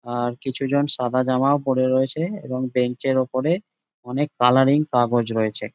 আর কিছুজন সাদা জামাও পরে রয়েছে এবং বেঞ্চের উপরে অনেক কালারিং কাগজ রয়েছে।